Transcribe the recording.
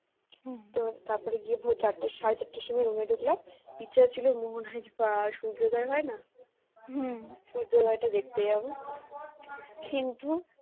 তো তারপরে গিয়ে ভোর চারটে সাড়ে চারটার সময় রুমে ঢুকলাম তুই ইচ্ছে ছিল মোহনায় বা সূর্যদয় হয় না সূর্যোদয় টা দেখতে যাব কিন্তু